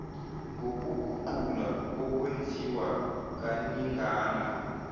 ngokuguqulwa okwenziwa kaningana